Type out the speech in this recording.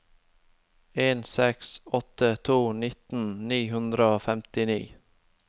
en seks åtte to nitten ni hundre og femtini